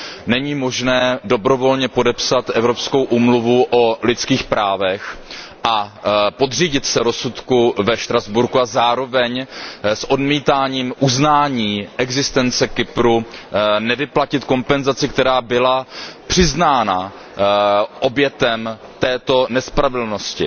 Není možné dobrovolně podepsat Evropskou úmluvu o lidských právech a podřídit se rozsudku ve Štrasburku a zároveň s odmítáním uznání existence Kypru nevyplatit kompenzaci, která byla přiznána obětem této nespravedlnosti.